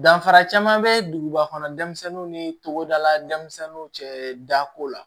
Danfara caman be duguba kɔnɔ denmisɛnninw ni togodala denmisɛnnu cɛ dako la